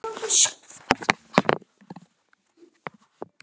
Ég er bara ég sjálf.